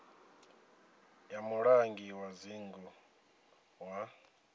ya mulangi wa dzingu wa